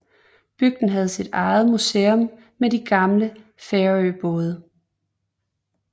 Bygden har sit eget museum med de gamle færøbåde